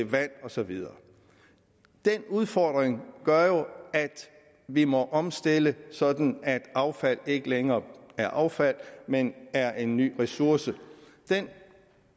vand og så videre den udfordring gør jo at vi må omstille sådan at affald ikke længere er affald men er en ny ressource der